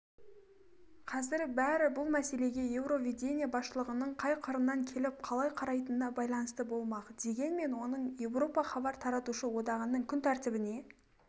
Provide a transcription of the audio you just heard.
қазір бәрі бұл мәселеге еуровидение басшылығының қай қырынан келіп қалай қарайтынына байланысты болмақ дегенмен оның еуропа хабар таратушы одағының күн тәртібіне